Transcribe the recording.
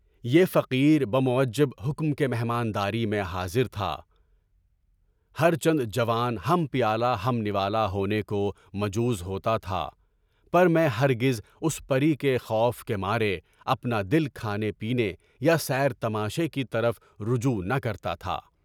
یہ فقیر بہ موجبِ حکم کے مہمانداری میں حاضر تھا، ہر چند جوان ہم پیالہ ہم نوالہ ہونے کو مجبور ہوتا تھا، پر میں ہرجز اس پرِی کے خوف کے مارے اپنا دل کھانے پینے، سیر تماشے کی طرف رجوع نہ کرتا تھا۔